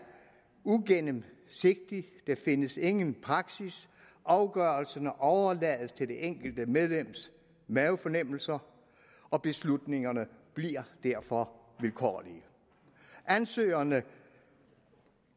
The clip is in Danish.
ugennemsigtigt der findes ingen praksis afgørelserne overlades til det enkelte medlems mavefornemmelser og beslutningerne bliver derfor vilkårlige ansøgerne